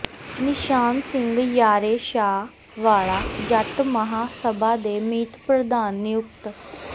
ਨਿਸ਼ਾਨ ਸਿੰਘ ਯਾਰੇ ਸ਼ਾਹ ਵਾਲਾ ਜੱਟ ਮਹਾਂ ਸਭਾ ਦੇ ਮੀਤ ਪ੍ਰਧਾਨ ਨਿਯੁਕਤ